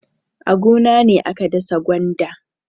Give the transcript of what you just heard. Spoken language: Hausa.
A gona ne aka dasa gwanda.